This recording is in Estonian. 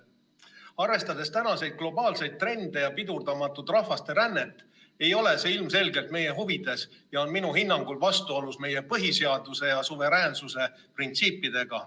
Arvestades tänaseid globaalseid trende ja pidurdamatut rahvaste rännet ei ole see ilmselgelt meie huvides ja on minu hinnangul vastuolus meie põhiseaduse ja suveräänsuse printsiipidega.